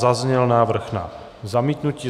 Zazněl návrh na zamítnutí.